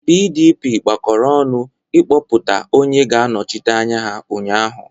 PDP gbakọrọ ọnụ kpọpụta onye ga-anọchi anya ha ụnyaahụ.